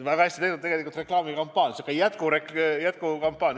Väga hästi tehtud reklaamikampaania, sihuke jätkukampaania!